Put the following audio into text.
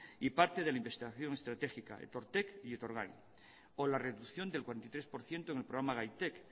tic y parte de la investigación estratégica etortek y etorgai o la reducción del cuarenta y tres por ciento en el programa gaitek